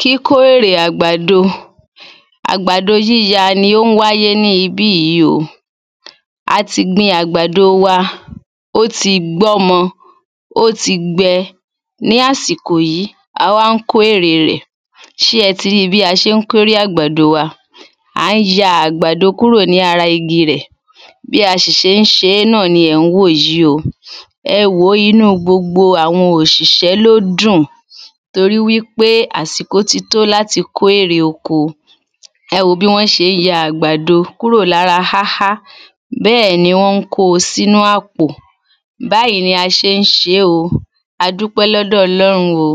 Kíkó érè àgbàdo Àgbàdo yíya ni ó ń wáyé ní ibi yí o àti gbin àgbàdo wa ó ti gbọ́mọ ó ti gbẹ ní àsìkò yí a wá ńkó erè rẹ̀ ṣé ẹ ti ríi bí a ṣé ń kó érè àgbàdo wa à ń ya àgbàdo kúrò lára igi rẹ̀ bí a ṣì ṣé ń ṣe náà ni ẹ̀ ń wò yí o ẹ wòó inú gbogb àwọn òṣìṣẹ́ ló dùn torí wí pé àsìkò ti tó láti kó ère oko ẹ wò bí wọ́n ṣe ń ya àgbàdo kúrò lára háhá bẹ́ẹ̀ ni wọ́n ko sínu àpò báyí ni a ṣé ń ṣe o adúpẹ́ lọ́dọ̀ ọlọ́run o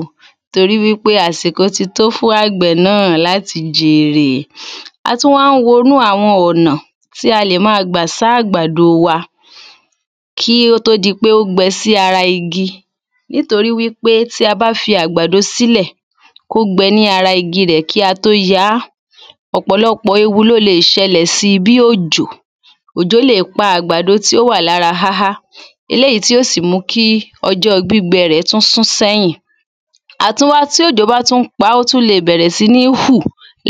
torí wí pé àsìkò ti to ́ fún àgbẹ̀ náà láti jèrè a tún wá ń wonú àwọn ọ̀nà tí a lè ma gbà sá àgbàdo wa kí ó tó di pé ó gbẹ sí ara igi nítorí wí pé tí a bá fí àgbàdo sílẹ̀ kó gbẹ ní ara igi rẹ̀ kí a tó yá ọ̀pọ̀lọpọ̀ ewu ló le è ṣẹlẹ̀ si bí òjò òjò le è pa àgbàdo tí ó wà lára háhá eléyí tí ó sì mu kí ọjọ́ gbígbẹ tún sún sẹ́yìn tí òjò bá tún pá ó tú le bẹ̀rẹ̀ sí ní hù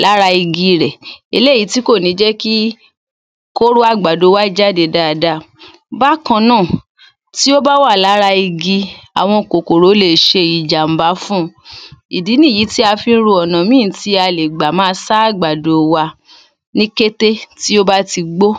lára igi rẹ̀ eléyí tí kò ní jẹ́ kí kóró àgbàdo wa jáde daada bákan náà tí ó bá wà lára igi àwọn kòkòrò le è ìjàm̀bá fun ìdí ní yí tí a fí ń ro ọ̀nà míì tí a lè gbà ma sá àgbàdo wa ní kété tí ó bá ti gbó